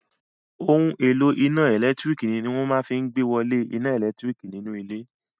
Ohun èlò iná ẹ̀lẹ́tírík ní wọ́n máa fí n ìgbéwolé iná ẹlẹtíríkì nínú ilé